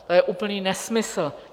To je úplný nesmysl.